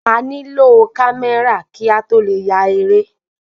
A ní lò kamẹra ki a tó le ya eré